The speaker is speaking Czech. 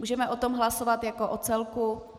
Můžeme o tom hlasovat jako o celku?